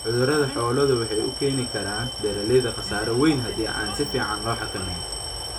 Cudurada xooluhu waxay u keeni karaan beeralayda khasaare wayn hadii aan si fiican loo xakamayn.